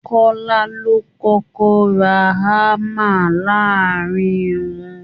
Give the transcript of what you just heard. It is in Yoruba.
Kọ́lá ló kọ́kọ́ ra hammer láàárin wọn